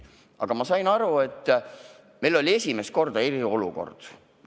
Aga ma sain aru, et meil oli esimest korda eriolukord.